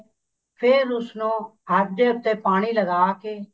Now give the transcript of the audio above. ਫ਼ੇਰ ਉਸਨੂੰ ਹੱਥ ਦੇ ਉੱਤੇ ਪਾਣੀ ਲਗਾ ਕੇ